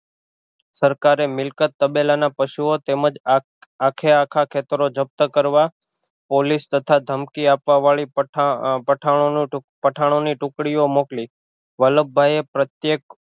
સરકારે મિલકત તાબેલ ના પશુઑ તેમજ આખે આખા ખેતર જપ્ત કરવા પોલીસ તથા થમકી આપવા વાળી પઠાણ પઠાણોની ટુકડીઓ મોકલી વલ્લભભાઈ એ પ્રત્યેક